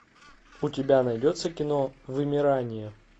у тебя найдется кино вымирание